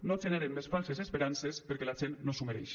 no generen més falses esperances perquè la gent no s’ho mereix